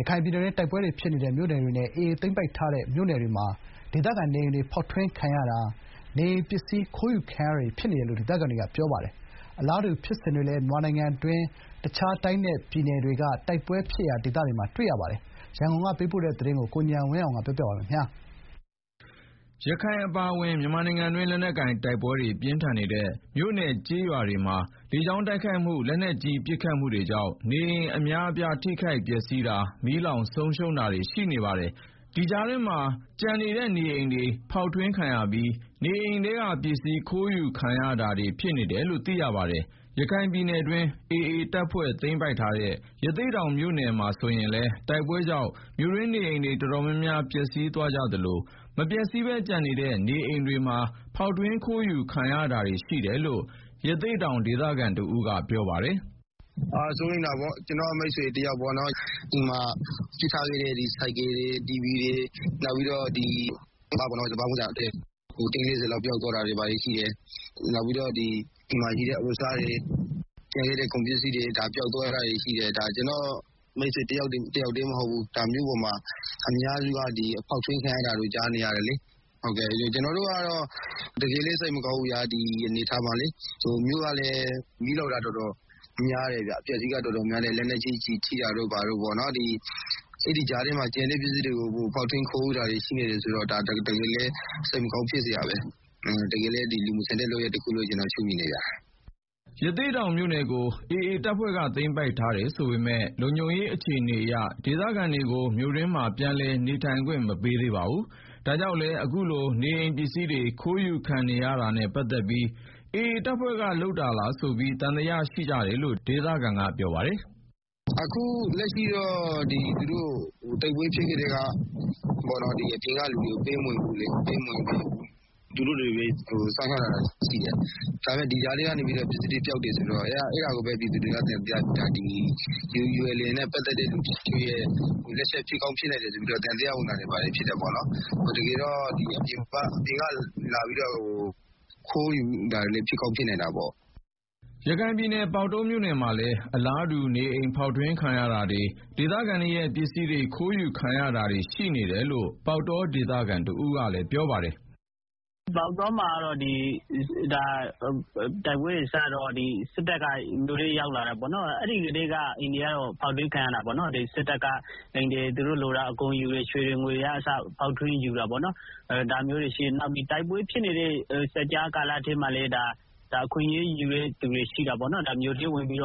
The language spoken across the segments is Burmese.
ရခိုင်ပြည်နယ်တွင်း တိုက်ပွဲဖြစ်နေတဲ့မြို့နယ်တွေနဲ့ AA သိမ်းပိုက်ထားတဲ့မြို့နယ်တွေမှာ ဒေသခံနေအိမ်တွေ ဖောက်ထွင်းခံရတာ၊ နေအိမ်ပစ္စည်းခိုးယူခံနေကြရတယ်လို့ ဒေသခံတွေကပြောပါတယ်။ အလားတူလိုပဲ မြန်မာနိုင်ငံတွင်း တခြားတိုင်းနဲ့ပြည်နယ်တွေက တိုက်ပွဲဖြစ်ရာ မြို့နယ်တွေမှာလည်း ဒီဖြစ်စဉ်တွေရှိနေပါတယ်။ ရန်ကုန်ကပေးပို့တဲ့သတင်း ကိုဉာဏ်ဝင်းအောင်က တင်ပြပေးထားပါတယ်။ ရခိုင်အပါအဝင် မြန်မာနိုင်ငံတွင်း လက်နက်ကိုင်တိုက်ပွဲတွေပြင်းထန်နေတဲ့ မြို့နယ် ကျေးရွာတွေမှာ လေကြောင်းတိုက်ခိုက်မှု၊ လက်နက်ကြီးပစ်ခတ်မှုတွေကြောင့် နေအိမ်အများအပြား ထိခိုက်ပျက်စီးတာ၊ မီးလောင်းဆုံးရှုံးတာတွေ ရှိနေတာပါ။ ဒီကြားထဲမှာ အခုလို ကျန်နေတဲ့ နေအိမ်တွေဖောက်ထွင်းခံရပြီး နေအိမ်ပစ္စည်းခိုးယူခံရမှုတွေလည်း ဖြစ်နေတယ်လို့ သိရပါတယ်။ ရခိုင်ပြည်နယ်တွင်း AA သိမ်းပိုက်ထားတဲ့ ရသေ့တောင်မြို့နယ်မှာဆိုရင်လည်း တိုက်ပွဲကြောင့် မြို့တွင်းနေအိမ်တွေ တော်တော်များများ ပျက်စီးသွားကြသလို မပျက်စီးဘဲကျန်ခဲ့တဲ့နေအိမ်တွေမှာလည်း ဖောက်ထွင်းခိုးယူခံနေရတယ်လို့ ရသေ့တောင်ဒေသခံတဦးကပြောပါတယ်။ “စိုးရိမ်တာပေါ့။ ကျနော်မိတ်ဆွေတယောက်ဆိုလို့ရှိရင် သူအိမ်မှာထားခဲ့တဲ့ ဆိုင်ကယ်တွေ၊ နောက်ပြီးတော့ စပါးတင်း ၄ဝ လောက် ပျောက်သွားတာတွေရှိတယ်၊ နောက်ပြီးတော့ အဝတ်အစားတွေ၊ ကျန်ခဲ့တဲ့ကုန်ပစ္စည်းတွေ ပျောက်သွားတာတွေရှိတယ်၊ ဒါလည်း ကျနော့ မိတ်ဆွေတယောက်တည်းမဟုတ်ဘူး၊ မြို့ပေါ်မှာ အများစုက ဖောက်ထွင်းခံနေရတာကြားတယ်လေ။ ကျနော်တို့ကတော့ တကယ်လည်း စိတ်မကောင်းဘူး၊ ဒီအနေအထားမှာလေ၊ မြို့ကလည်း မီးလောင်တာ တော်တော်များတယ်ဗျာ။ ပျက်စီးတာများတယ်။ လက်နက်ကြီးကျည်ထိတာတွေ အဲဒီကြားထဲ ကျန်တဲ့ပစ္စည်းတွေကို ဖောက်ထွင်းခံရတာတွေရှိနေတယ်ဆိုတော့ ဒါ တကယ်လည်း စိတ်မကောင်းဖြစ်စရာပါပဲ။” ရသေ့တောင်မြို့နယ်ကို AA သိမ်းပိုက်ထားတယ်ဆိုပေမယ့် လုံခြုံရေးအခြေအနေအရ ဒေသခံတွေကို မြို့တွင်းမှာ ပြန်လည်နေထိုင်ခွင့်မပေးသေးပါဘူး။ ဒါကြောင့်လည်း အခုလို နေအိမ်ပစ္စည်းတွေ ခိုးယူခံနေရတာနဲ့ ပတ်သက်ပြီး AA တပ်ဖွဲ့တွေလားဆိုပြီး သံသယရှိကြတယ်လို့ ဒေသခံက ပြောပါတယ်။ “အခုလက်ရှိက သူတို့တိုက်ပွဲဖြစ်ကတည်းက အပြင်ကလူတွေကို ပေးမဝင်ဘူးလေ၊ သူတို့ပဲ စောင့်ရှောက်ထားတာရှိတယ်။ အဲဒီထဲကနေ ပစ္စည်းတွေပျောက်တယ်ဆိုတော့ အဲဒါကိုပဲ ပြည်သူတွေက သံသယဖြစ်နေကြတာ။ ULA/AAနဲ့ ပတ်သက်တဲ့လူတချို့နဲ့ ပတ်သက်မှုရှိနိုင် တယ်ဆိုပြီး သံသယဝင်နေကြတယ်။ အပြင်ကလာပြီးတော့ ခိုးယူတာတွေလည်း ဖြစ်ကောင်းဖြစ်နိုင်တာပေါ့၊ ဒီကြားထဲမှာပေါ့နော်။” ရခိုင်ပြည်နယ် ပေါက်တောမြို့နယ်မှာလည်း အလားတူ နေအိမ်ဖောက်ထွင်းခံရတာတွေ၊ ဒေသခံတွေရဲ့ပစ္စည်းတွေ ခိုးယူခံရတာတွေ ရှိနေတယ်လို့ ပေါက်တောဒေသခံတဦးကပြောပါတယ်။ “ပေါက်တောမှာ တိုက်ပွဲတွေစတော့ စစ်တပ်က ရွာထဲရောက်လာတယ်ပေါ့နော်။ အဲဒီကတည်းက အိမ်တွေက ဖောက်ထွင်းခံရတာပေါ့နော်။ စစ်တပ်က အိမ်တွေဖောက်ပြီး သူတို့လိုတာအကုန်ယူတယ်။ ရွှေတွေ ငွေတွေ ယူတာပေါ့နော်၊ နောက် တိုက်ပွဲဖြစ်နေတဲ့ စပ်ကြားကာလထဲမှာလည်း အခွင့်အရေးယူတဲ့သူတွေ ရှိတာပေါ့နော်၊ မြို့ထဲဝင်ပြီး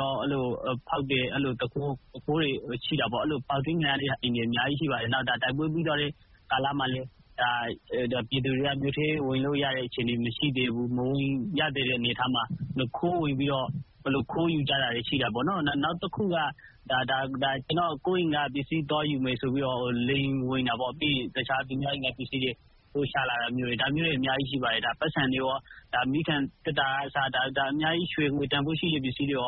ဖောက်တယ်။ အဲလိုဖောက်ထွင်းခံရတဲ့အိမ်တွေ အများကြီးရှိပါတယ်။ တိုက်ပွဲပြီးသွားတဲ့ကာလမှာလည်း ပြည်သူတွေက မြို့ထဲဝင်လို့ရတဲ့ အခြေအနေမရှိသေးတဲ့အနေအထားမှာ ခိုးယူကြတာတွေရှိတယ်။ နောက်တခုကတော့ ကိုယ့်အိမ်ကပစ္စည်း သွားယူမယ်ဆိုပြီးတော့ သူများအိမ်ကပစ္စည်းတွေ ယူလာတယ်။ ဒါမျိုးတွေ အများကြီးရှိပါတယ်။ ပိုက်ဆံတွေရော မီးခံသေတ္တာကအစ ရွှေ ငွေ တန်ဖိုးရှိတဲ့ပစ္စည်းတွေ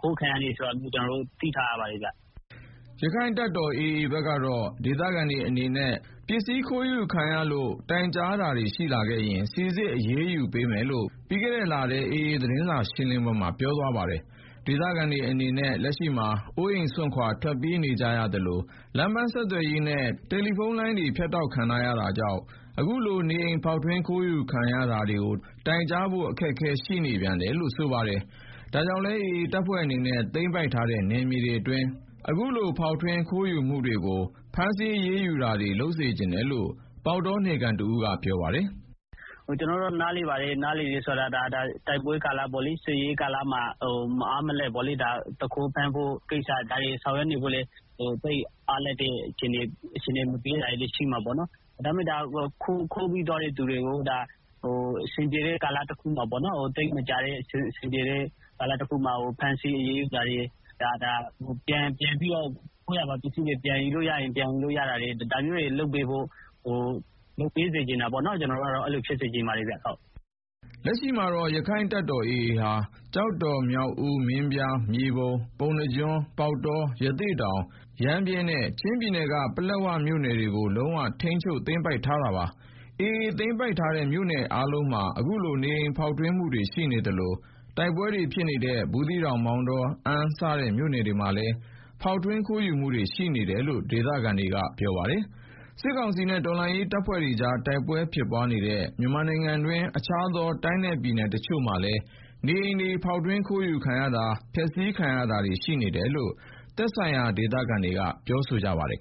ခိုးခံရတယ်ဆိုတာ ကျနော်တို့ သိထားရပါတယ်။” ရက္ခိုင့်တပ်တော် AA ဘက်ကတော့ ဒေသခံတွေအနေနဲ့ ပစ္စည်းခိုးယူခံရတာတွေအပေါ် တိုင်ကြားလာတာရှိရင် စိစစ်အရေးယူပေးမယ်လို့ ပြီးခဲ့တဲ့လ AA သတင်းစာရှင်းလင်းပွဲမှာ ပြောဆိုပါတယ်။ ဒေသခံတွေအနေနဲ့ လက်ရှိမှာ အိမ်အိုးစွန့်ခွာထွက်ပြေးနေကြရသလို လမ်းပန်းဆက်သွယ်ရေးနဲ့ ဖုန်းလိုင်းတွေ ပြတ်တောက်နေတာကြောင့် အခုလို နေအိမ်ဖောက်ထွင်းခိုးယူခံရမှုတွေ တိုင်ကြားဖို့ အခက်အခဲရှိတယ်လို့ ဆိုပါတယ်။ ဒါကြောင့်လည်း AA အနေနဲ့ သိမ်းပိုက်ထားတဲ့နယ်မြေအတွင်း အခုလိုဖောက်ထွင်းခိုးယူမှုတွေကို ဖမ်းဆီးအရေးယူတာတွေ လုပ်စေချင်တယ်လို့ ပေါက်တောနယ်ခံကပြောပါတယ်။ “ကျနော်တို့ နားလည်ပါတယ်။ ဒါတိုက်ပွဲကာလမှာ မအားမလပ် သူခိုးဖမ်းဖို့ ကိစ္စ၊ ဒါတွေ ဆောင်ရွက်နေဖို့လည်း သိပ်အားလပ်တဲ့ အခြေအနေမပေးတာတွေလည်းရှိမယ်။ ဒါပေမဲ့ ခိုးပြီးသွားတဲ့ သူတွေကို အဆင်ပြေတဲ့ကာလတခုမှာ ဖမ်းဆီးအရေးယူတာတွေ၊ ခိုးရာပါပစ္စည်းတွေ ပြန်ယူလို့ရရင် ပြန်ယူပေးတာတွေ၊ ဒါမျိုးတွေ လုပ်ပေးစေချင်တာပေါ့နော်၊ ကျနော်တို့ ကတော့ အဲလိုဖြစ်စေချင်ပါတယ်ဗျာ။” လက်ရှိမှာတော့ ရက္ခိုင့်တပ်တော် AA ဟာ ကျောက်တော်၊ မြောက်ဦး၊ မင်းပြား၊ မြေပုံ၊ ပုဏ္ဏားကျွန်း၊ ပေါက်တော၊ ရသေ့တောင်၊ ရမ်းဗြဲနဲ့ ချင်းပြည်နယ်က ပလက်ဝမြို့ နယ်တွေကို လုံးဝထိန်းချုပ်သိမ်းပိုက်ထားတာပါ။ AA သိမ်းပိုက်ထားတဲ့ မြို့နယ်အားလုံးမှာ အခုလို နေအိမ်ဖောက်ထွင်းမှုတွေရှိနေသလို တိုက်ပွဲတွေဖြစ်နေတဲ့ ဘူးသီးတောင်၊ မောင်တော၊ အမ်းစတဲ့ မြို့နယ်တွေမှာလည်း ဖောက်ထွင်းခိုးယူမှုတွေ ရှိနေတယ်လို့ ဒေသခံတွေပြောပါတယ်။ စစ်ကောင်စီနဲ့ တော်လှန်ရေးတပ်တွေကြား တိုက်ပွဲဖြစ်ပွားနေတဲ့ မြန်မာနိုင်ငံတွင်း တခြားသော တိုင်းနဲ့ပြည်နယ်တချို့မှာလည်း နေအိမ်တွေ ဖောက်ထွင်းခိုးယူခံရတာ ဖျက်စီးခံရတာတွေ ရှိနေတယ်လို့ သက်ဆိုင်ရာဒေသခံတွေက ပြောဆိုကြပါတယ်